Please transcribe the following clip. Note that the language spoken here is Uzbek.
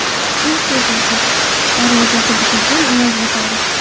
Kun fotosi: Darvozasi buzilgan Oloy bozori .